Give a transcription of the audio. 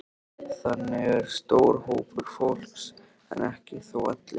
Þannig er stór hópur fólks, en ekki þó allir.